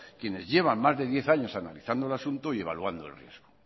quienes llevan más de diez años analizando el asunto y evaluando el riesgo